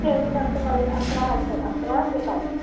Schedule आमचं college अकरा वाजता, अकरा ते पाच.